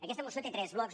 aquesta moció té tres blocs